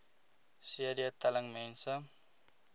cd telling mense